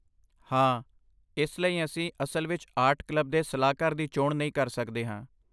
ਹਾਂ, ਇਸ ਲਈ ਅਸੀਂ ਅਸਲ ਵਿੱਚ ਆਰਟ ਕਲੱਬ ਦੇ ਸਲਾਹਕਾਰ ਦੀ ਚੋਣ ਨਹੀਂ ਕਰ ਸਕਦੇ ਹਾਂ।